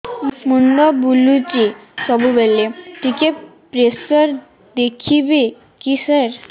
ମୁଣ୍ଡ ବୁଲୁଚି ସବୁବେଳେ ଟିକେ ପ୍ରେସର ଦେଖିବେ କି ସାର